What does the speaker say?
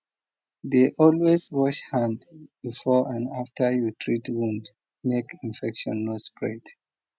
dey always wash hand before and after you treat wound make infection no spread